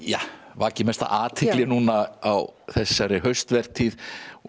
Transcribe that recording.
vakið mesta athygli núna á þessari haustvertíð og